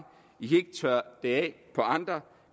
tørre det af på andre